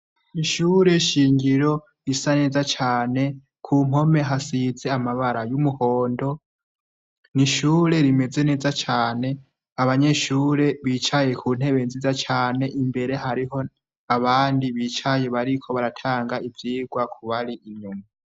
ishure shingiro risa neza cane, ku mpome hasize amabara y'umuhondo, n'ishure rimeze neza cane, abanyeshure bicaye ku ntebe nziza cane, imbere hariho abandi bicaye bariko baratanga ivyigwa kubari inyuma.